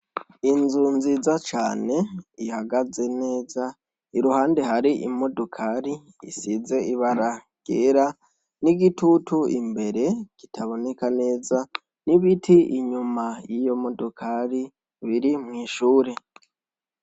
Inzu nziza cane ihagaze neza iruhande hari imodokari isize ibara ryera n'igitutu imbere kitaboneka neza n'ibiti inyuma y'iyomodokari biri mw'ishuri.